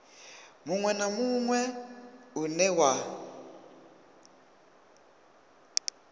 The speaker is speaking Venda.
munwe na munwe une wa